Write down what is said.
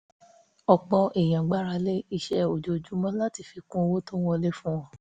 ọ̀pọ̀ èèyàn gbára lé iṣẹ́ ojoojúmọ́ láti fi kún owó tó ń wọlé fún wọn